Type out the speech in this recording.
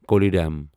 Kollidam